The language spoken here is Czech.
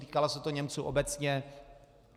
Týkalo se to Němců obecně.